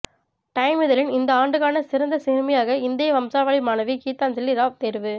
time இதழின் இந்த ஆண்டுக்கான சிறந்த சிறுமியாக இந்திய வம்சாவளி மாணவி கீதாஞ்சலி ராவ் தேர்வு